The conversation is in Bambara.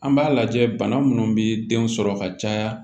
An b'a lajɛ bana minnu bi denw sɔrɔ ka caya